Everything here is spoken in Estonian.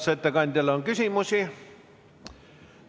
Kas ettekandjale on küsimusi?